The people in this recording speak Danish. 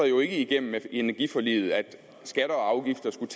jo ikke igennem energiforliget at skatter og afgifter skulle